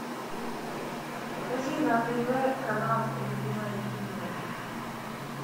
покажи на тв канал любимое кино